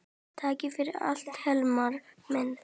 Takk fyrir allt Hilmar minn.